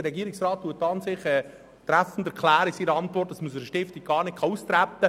Der Regierungsrat erklärt in seiner Antwort treffend, der Austritt aus einer Stiftung sei nicht möglich.